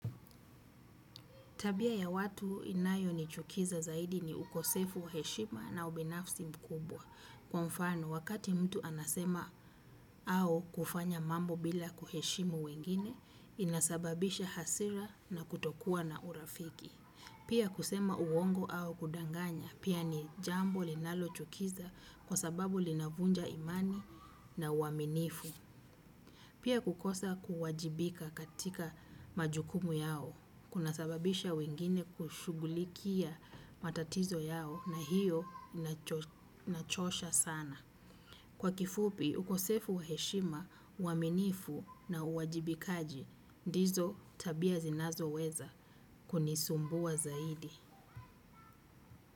Tabia ya watu inayo nichukiza zaidi ni ukosefu wa heshima na ubinafsi mkubwa. Kwa mfano, wakati mtu anasema au kufanya mambo bila kuheshimu wengine, inasababisha hasira na kutokua na urafiki. Pia kusema uongo au kudanganya, pia ni jambo linalo chukiza kwa sababu linavunja imani na uaminifu. Pia kukosa kuwajibika katika majukumu yao, kuna sababisha wengine kushugulikia matatizo yao na hiyo inachosha sana. Kwa kifupi, ukosefu wa heshima, uaminifu na uwajibikaji, ndizo tabia zinazo weza kunisumbua zaidi.